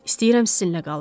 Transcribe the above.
İstəyirəm sizinlə qalım.